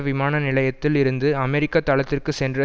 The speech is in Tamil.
விமான நிலையத்தில் இருந்து அமெரிக்க தளத்திற்கு சென்ற